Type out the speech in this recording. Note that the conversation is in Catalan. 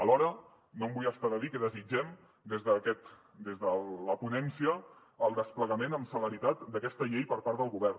alhora no em vull estar de dir que desitgem des de la ponència el desplegament amb celeritat d’aquesta llei per part del govern